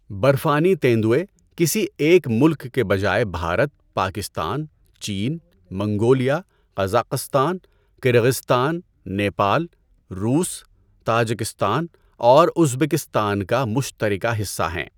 برفانی تیندوے، کسی ایک ملک کی بجائے بھارت، پاکستان، چین، منگولیا، قزاقستان، كرغستان، نیپال، روس، تاجکستان اور ازبکستان کا مشترکہ حصہ ہیں۔